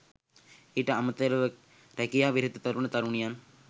ඊට අමතරව රැකියා විරහිත තරුණ තරුණියන්